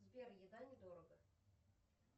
сбер еда недорого